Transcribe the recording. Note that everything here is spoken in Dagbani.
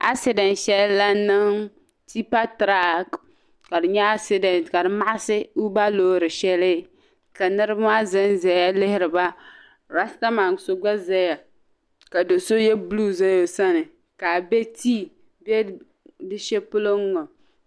Accident shɛli la niŋ tipa track ka di nyɛ accident ka di maɣisi tiba loori shɛli ka niriba maa zan zaya lihiri ba rasta man so gba zaya ka do gba ye blue za o sani ka a be tii be di shɛli polo ŋɔ.